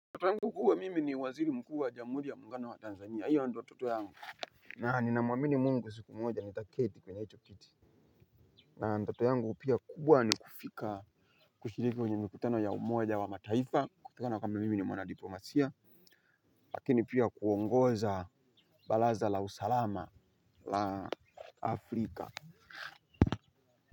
Ndoto yangu kuwa mimi ni waziri mkuu wa jamuhuri ya muungano wa Tanzania, hiyo ndio ndoto yangu. Na ni namuamini mungu siku moja ni taketi kwenye hicho kiti na ndoto yangu pia kubwa ni kufika kushiriki kwenye mikutano ya umoja wa mataifa kutokana kwamba mimi ni mwana diplomasia. Lakini pia kuongoza baraza la usalama la Afrika.